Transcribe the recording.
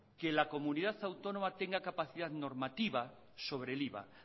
que la comunidad autónoma tenga capacidad normativa sobre el iva